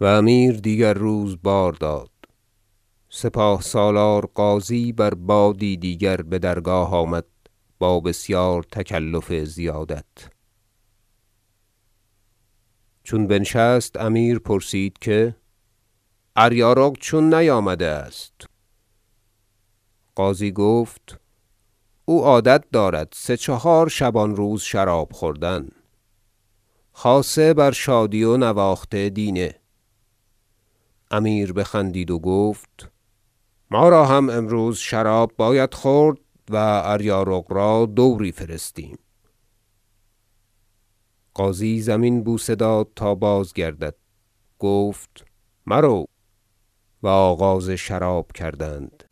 و امیر دیگر روز بار داد سپاه سالار غازی بر بادی دیگر بدرگاه آمد با بسیار تکلف زیادت چون بنشست امیر پرسید که اریارق چون نیامده است غازی گفت او عادت دارد سه چهار شبان روز شراب خوردن خاصه بر شادی و نواخت دینه امیر بخندید و گفت ما را هم امروز شراب باید خورد و اریارق را دوری فرستیم غازی زمین بوسه داد تا بازگردد گفت مرو و آغاز شراب کردند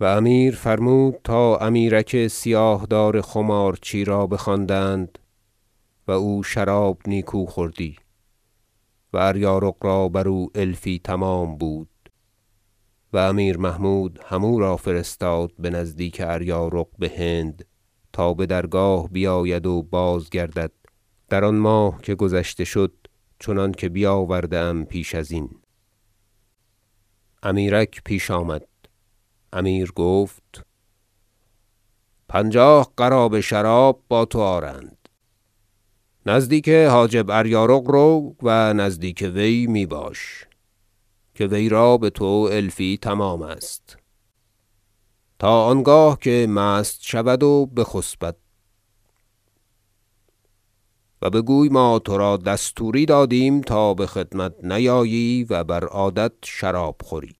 و امیر فرمود تا امیرک سیاه دار خمارچی را بخواندند- و او شراب نیکو خوردی و اریارق را بر او الفی تمام بود و امیر محمود هم او را فرستاد بنزدیک اریارق بهند تا بدرگاه بیاید و بازگردد در آن ماه که گذشته شد چنانکه بیاورده ام پیش ازین- امیرک پیش آمد امیر گفت پنجاه قرابه شراب با تو آرند نزدیک حاجب اریارق رو و نزدیک وی می باش که وی را بتو الفی تمام است تا آنگاه که مست شود و بخسبد و بگوی ما ترا دستوری دادیم تا بخدمت نیایی و بر عادت شراب خوری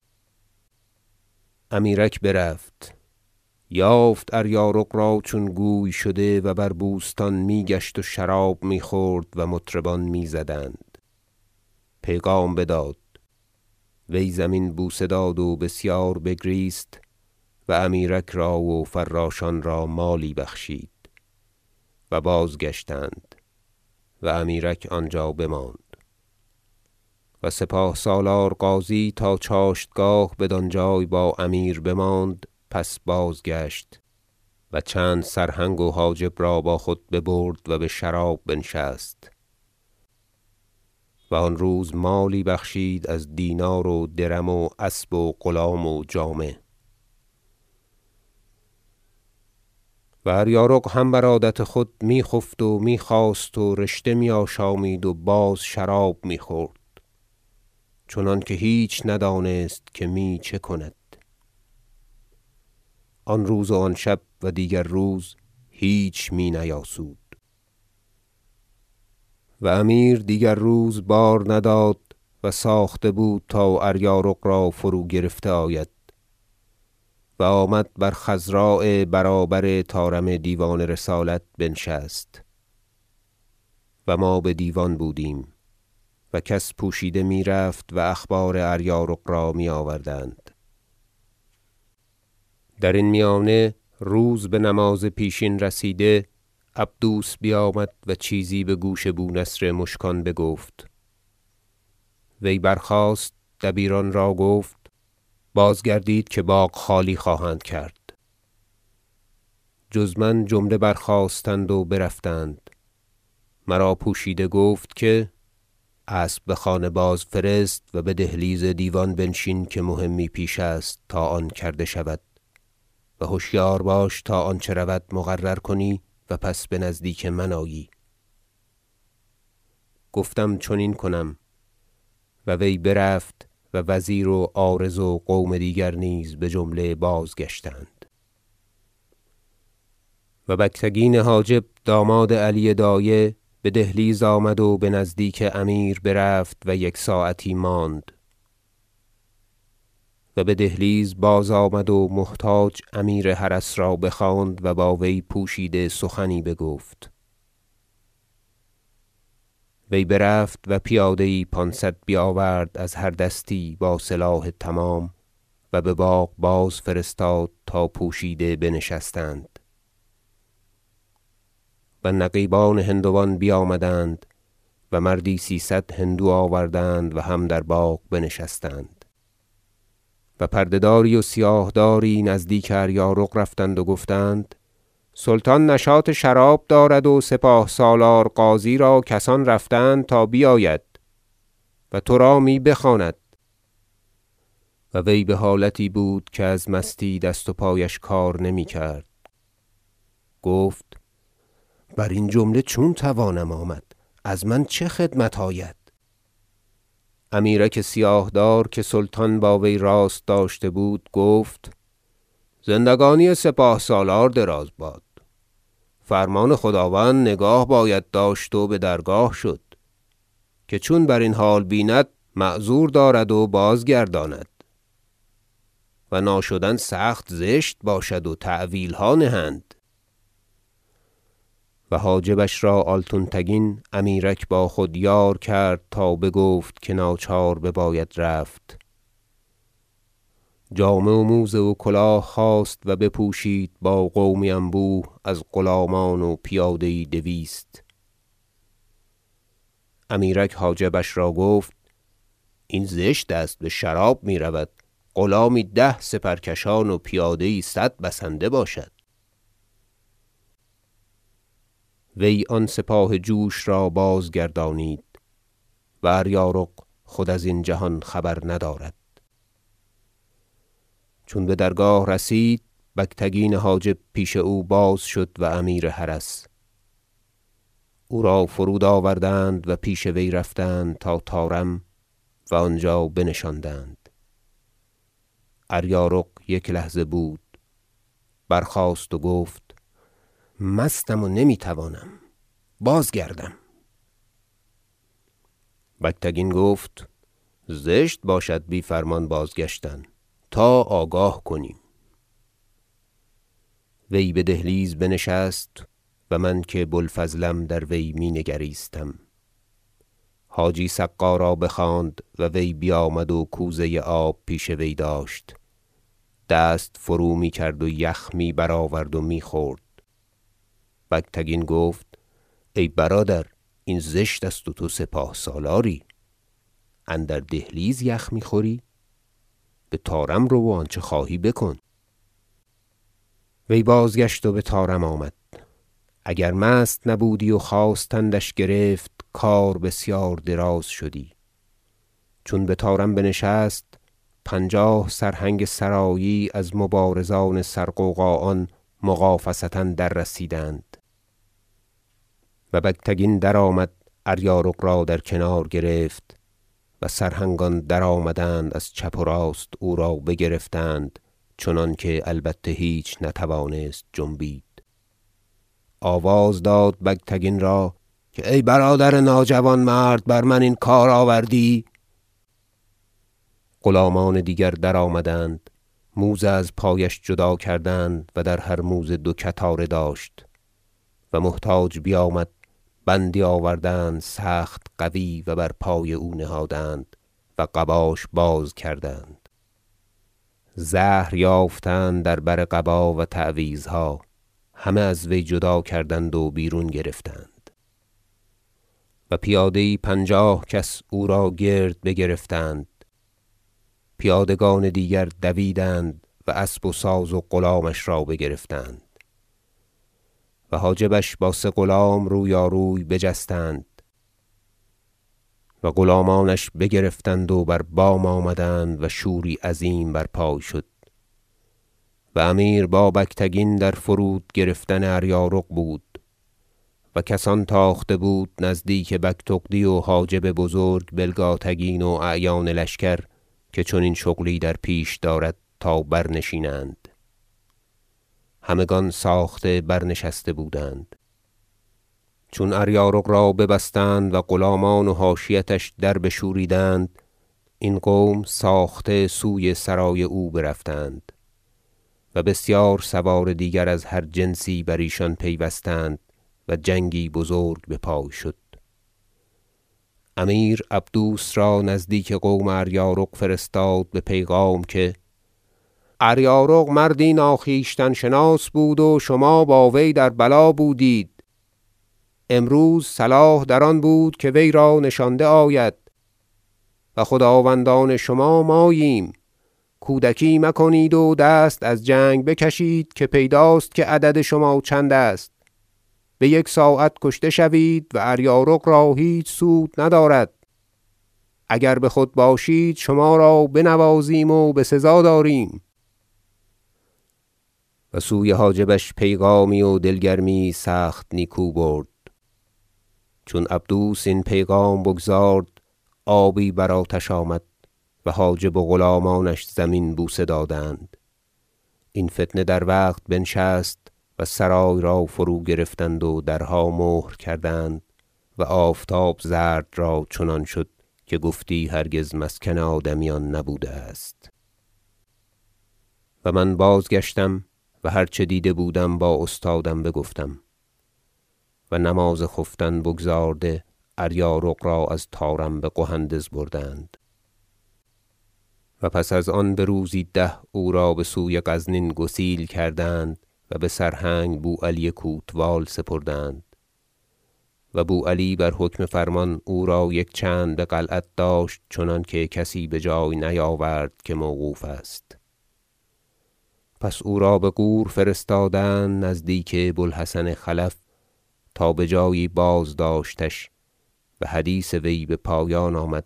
امیرک برفت یافت اریارق را چون گوی شده و بر بوستان می گشت و شراب می خورد و مطربان میزدند پیغام بداد وی زمین بوسه داد و بسیار بگریست و امیرک را و فراشان را مالی بخشید و بازگشتند و امیرک آنجا بماند و سپاه سالار غازی تا چاشتگاه بدانجای با امیر بماند پس بازگشت و چند سرهنگ و حاجب را با خود ببرد و بشراب بنشست و آن روز مالی بخشید از دینار و درم و اسب و غلام و جامه و اریارق هم بر عادت خود می خفت و می- خاست و رشته می آشامید و باز شراب می خورد چنانکه هیچ ندانست که می چه کند و آن روز و آن شب و دیگر روز هیچ می نیاسود و امیر دیگر روز بار نداد و ساخته بود تا اریارق را فروگرفته آید و آمد بر خضراء برابر طارم دیوان رسالت بنشست- و ما بدیوان بودیم- و کس پوشیده می رفت و اخبار اریارق را می آوردند درین میانه روز به نماز پیشین رسیده عبدوس بیامد و چیزی بگوش بو نصر مشکان بگفت وی برخاست دبیران را گفت بازگردید که باغ خالی خواهند کرد جز من جمله برخاستند و برفتند مرا پوشیده گفت که اسب بخانه بازفرست و بدهلیز دیوان بنشین که مهمی پیش است تا آن کرده شود و هشیار باش تا آنچه رود مقرر کنی و پس بنزدیک من آیی گفتم چنین کنم و وی برفت و وزیر و عارض و قوم دیگر نیز بجمله بازگشتند و بگتگین حاجب داماد علی دایه بدهلیز آمد و بنزدیک امیر برفت و یک ساعتی ماند و بدهلیز بازآمد و محتاج امیر حرس را بخواند و با وی پوشیده سخنی بگفت وی برفت و پیاده یی پانصد بیاورد و از هر دستی با سلاح تمام و بباغ بازفرستاد تا پوشیده بنشستند و نقیبان هندوان بیامدند و مردی سیصد هندو آوردند و هم در باغ بنشستند و پرده داری و سیاه داری نزدیک اریارق رفتند و گفتند سلطان نشاط شراب دارد و سپاه سالار غازی را کسان رفتند تا بیاید و ترا می بخواند و وی بحالتی بود که از مستی دست و پایش کار نمی کرد گفت برین جمله چون توانم آمد از من چه خدمت آید امیرک سیاه دار که سلطان با وی راست داشته بود گفت زندگانی سپاه سالار دراز باد فرمان خداوند نگاه باید داشت و بدرگاه شد که چون برین حال بیند معذور دارد و بازگرداند و ناشدن سخت زشت باشد و تأویلها نهند و حاجبش را آلتونتگین امیرک با خود یار کرد تا بگفت که ناچار بباید رفت جامه و موزه و کلاه خواست و بپوشید با قومی انبوه از غلامان و پیاده یی دویست امیرک حاجبش را گفت این زشت است بشراب می رود غلامی ده سپرکشان و پیاده یی صد بسنده باشد وی آن سپاه جوش را بازگردانید و اریارق خود ازین جهان خبر ندارد چون بدرگاه رسید بگتگین حاجب پیش او باز شد و امیر حرس او را فرود آوردند و پیش وی رفتند تا طارم و آنجا بنشاندند اریارق یک لحظه بود برخاست و گفت مستم و نمی توانم بود بازگردم بگتگین گفت زشت باشد بی فرمان بازگشتن تا آگاه کنیم وی بدهلیز بنشست و من که بو الفضلم در وی می نگریستم حاجی سقا را بخواند و وی بیامد و کوزه آب پیش وی داشت دست فرومی کرد و یخ می برآورد و می خورد بگتگین گفت ای برادر این زشت است و تو سپاه سالاری اندر دهلیز یخ می خوری بطارم رو و آنچه خواهی بکن وی بازگشت و بطارم آمد- اگر مست نبودی و خواستندش گرفت کار بسیار دراز شدی- چون بطارم بنشست پنجاه سرهنگ سرایی از مبارزان سر غوغا آن مغافصه دررسیدند و بگتگین درآمد و اریارق را در کنار گرفت و سرهنگان درآمدند از چپ و راست او را بگرفتند چنانکه البته هیچ نتوانست جنبید آواز داد بگتگین را که ای برادر ناجوانمرد بر من این کار آوردی غلامان دیگر درآمدند موزه از پایش جدا کردند- و در هر موزه دو کتاره داشت- و محتاج بیامد بندی آوردند سخت قوی و بر پای او نهادند و قباش باز کردند زهر یافتند در بر قبا و تعویذها همه از وی جدا کردند و بیرون گرفتند و پیاده یی پنجاه کس او را گرد بگرفتند پیادگان دیگر دویدند و اسب و ساز و غلامانش را بگرفتند و حاجبش با سه غلام رویاروی بجستند و غلامانش سلاح برگرفتند و بر بام آمدند و شوری عظیم بر پای شد و امیر با بگتگین در فرود گرفتن اریارق بود و کسان تاخته بود نزدیک بگتغدی و حاجب بزرگ بلگاتگین و اعیان لشکر که چنین شغلی در پیش دارد تا برنشینند همگان ساخته برنشسته بودند چون اریارق را ببستند و غلامان و حاشیتش در بشوریدند این قوم ساخته سوی سرای او برفتند و بسیار سوار دیگر از هر جنسی بر ایشان پیوستند و جنگی بزرگ بپای شد امیر عبدوس را نزدیک قوم اریارق فرستاد به پیغام که اریارق مردی ناخویشتن شناس بود و شما با وی در بلا بودید امروز صلاح در آن بود که وی را نشانده آید و خداوندان شما ماییم کودکی مکنید و دست از جنگ بکشید که پیداست که عدد شما چندست بیک ساعت کشته شوید و اریارق را هیچ سود ندارد اگر بخود باشید شما را بنوازیم و بسزا داریم و سوی حاجبش پیغامی و دل گرمی یی سخت نیکو برد چون عبدوس این پیغام بگزارد آبی بر آتش آمد و حاجب و غلامانش زمین بوسه دادند این فتنه در وقت بنشست و سرای را فروگرفتند و درها مهر کردند و آفتاب زرد را چنان شد که گفتی هرگز مسکن آدمیان نبوده است و من بازگشتم و هرچه دیده بودم با استادم بگفتم و نماز خفتن بگزارده اریارق را از طارم بقهندز بردند و پس از آن بروزی ده او را بسوی غزنین گسیل کردند و بسرهنگ بو علی کوتوال سپردند و بو علی بر حکم فرمان او را یک چند به قلعت داشت چنانکه کسی بجای نیاورد که موقوف است پس او را بغور فرستادند نزدیک بو الحسن خلف تا بجایی بازداشتش و حدیث وی بپایان آمد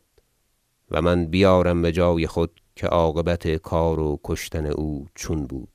و من بیارم بجای خود که عاقبت کار و کشتن او چون بود